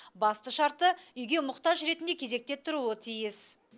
басты шарты үйге мұқтаж ретінде кезекте тұруы тиіс